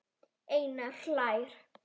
Einar hlær.